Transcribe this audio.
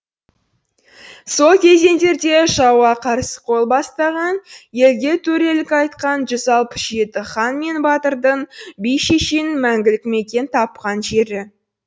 сол кезеңдерде жауға қарсы қол бастаған елге төрелік айтқан жүз алпыс жеті хан мен батырдың би шешеннің мәңгілік мекен тапқан жері